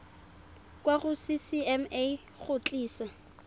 kwa go ccma go tlisa